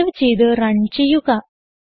save ചെയ്ത് run ചെയ്യുക